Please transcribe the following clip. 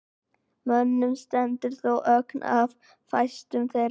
Mönnum stendur þó ógn af fæstum þeirra.